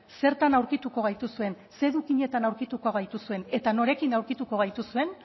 zertan aurkituko gaituzuen ze edukietan aurkituko gaituzuen eta norekin aurkituko gaituzuen